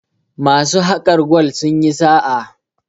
masu hakar gwal sun yi sa a